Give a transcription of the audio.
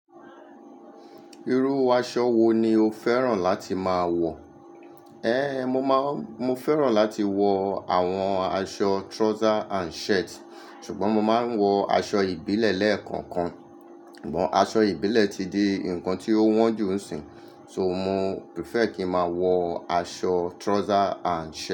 Irú aṣọ wo ni o fẹ́ràn láti máa wọ̀? Ehn, mo máa, mo fẹ́ràn láti wọ àwọn aṣọ trouser and shirt ṣùgbọ́n mo máa ń wọ aṣọ ìbílẹ̀ lẹ́ẹ̀kọ̀kan. Sugbọ̀n aṣọ ìbílẹ̀ ti di nǹkan tí ó wọ́n ju ń sìn, so mo prefer kí ń máa wọ aṣọ trouser and shirt.